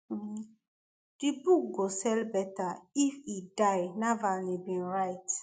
um di book go sell better if e die navalny bin write